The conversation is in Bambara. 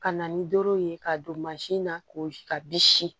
Ka na ni doro ye ka don na ko ka bi si